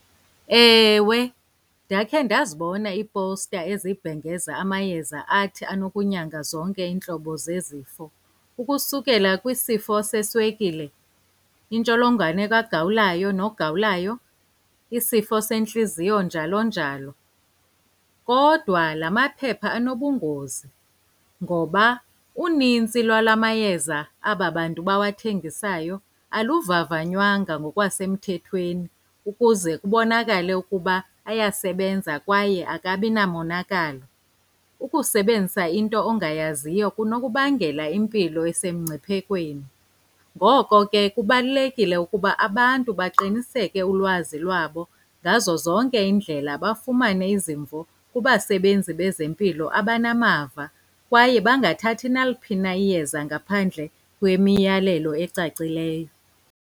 Ewe, ndakhe ndazibona iipowusta ezibhengeza amayeza athi anokunyanga zonke iintlobo zezifo ukusukela kwisifo seswekile, intsholongwane kagawulayo nogawulayo, isifo sentliziyo, njalo njalo. Kodwa la maphepha anobungozi ngoba unintsi lwala mayeza aba bantu bawathengisayo aluvavanywanga ngokwasemthethweni ukuze kubonakale ukuba ayasebenza kwaye akabi namonakalo. Ukusebenzisa into ongayaziyo kunokubangela impilo esemngciphekweni. Ngoko ke kubalulekile ukuba abantu baqiniseke ulwazi lwabo ngazo zonke iindlela, bafumane izimvo kubasebenzi bezempilo abanamava kwaye bangathathi naliphi na iyeza ngaphandle kwemiyalelo ecacileyo.